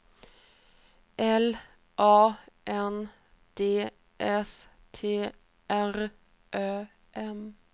L A N D S T R Ö M